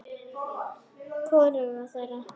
Hvoruga þeirra.